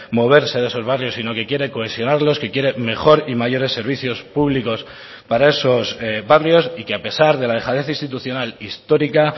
moverse de esos barrios sino que quiere cohesionarlos que quiere mejor y mayores servicios públicos para esos barrios y que a pesar de la dejadez institucional histórica